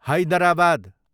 Hyderabad